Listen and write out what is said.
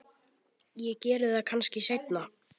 Ég geri það kannski seinna.